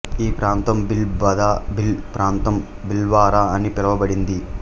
ఈ ప్రాంతం భీల్ బద భీల్ ప్రాంతం భిల్వారా అని పిలువబడింది